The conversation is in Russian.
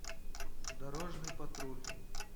дорожный патруль